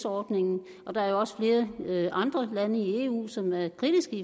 ordningen der er jo også flere andre lande i eu som er kritiske